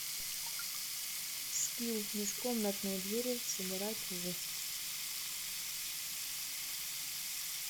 скилл межкомнатные двери сыграть в